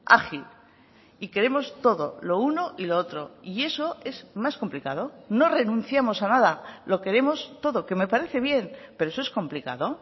ágil y queremos todo lo uno y lo otro y eso es más complicado no renunciamos a nada lo queremos todo que me parece bien pero eso es complicado